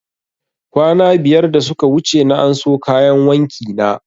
Kwana biyar da suka wuce na anso kayan wanki na